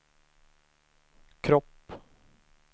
kropp